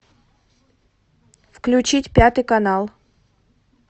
включить пятый канал